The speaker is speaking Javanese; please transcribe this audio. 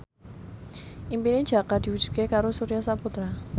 impine Jaka diwujudke karo Surya Saputra